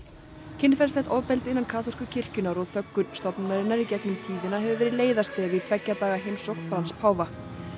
kynferðislegt ofbeldi innan kaþólsku kirkjunnar og þöggun stofnunarinnar í gegnum tíðina hefur verið leiðarstef í tveggja daga heimsókn Frans páfa